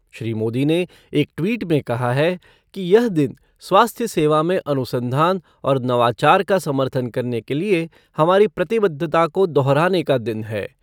श्री मोदी ने एक ट्वीट में कहा है कि यह दिन स्वास्थ्य सेवा में अनुसंधान और नवाचार का समर्थन करने के लिए हमारी प्रतिबद्धता को दोहराने का दिन है।